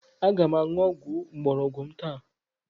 Aga m aṅụ ọgwụ mgbọrọgwụ m taa.